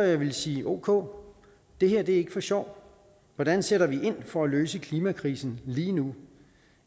jeg ville sige at ok det her er ikke for sjov hvordan sætter vi ind for at løse klimakrisen lige nu